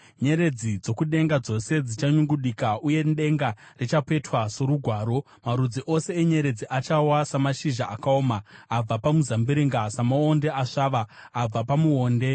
Nyeredzi dzokudenga dzose dzichanyungudika, uye denga richapetwa sorugwaro; marudzi ose enyeredzi achawa samashizha akaoma abva pamuzambiringa, samaonde akasvava abva pamuonde.